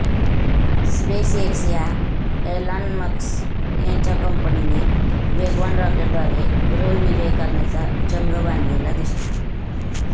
space X या Elon Musk यांच्या कंपनीने वेगवान रॉकेटद्वारे ग्रहविजय करण्याचा चंग बांधलेला दिसतो